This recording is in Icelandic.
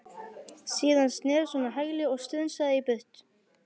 Síðan snerist hún á hæli og strunsaði í burtu.